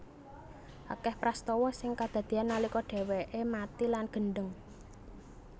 Akeh prastawa sing kadadean nalika dheweke mati lan gendheng